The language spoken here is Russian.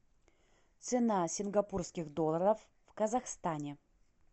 цена сингапурских долларов в казахстане